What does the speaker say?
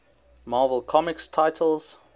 marvel comics titles